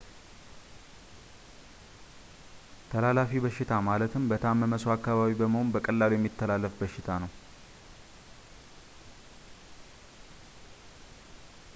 ተላላፊ በሽታ ማለት በታመመ ሰው አካባቢ በመሆን በቀላሉ የሚተላለፍ በሽታ ነው